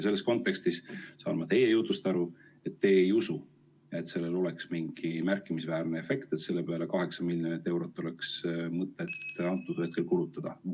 Selles kontekstis saan ma teie jutust aru, et teie ei usu, et sellel oleks piisavalt märkimisväärne efekt, et oleks mõtet selle peale 8 miljonit eurot kulutada.